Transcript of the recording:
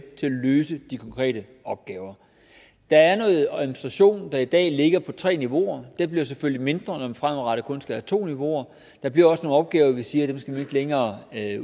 løse de konkrete opgaver der er noget administration der i dag ligger på tre niveauer den bliver selvfølgelig mindre når man fremadrettet kun skal have to niveauer der bliver også nogle opgaver hvorom vi siger at dem skal vi ikke længere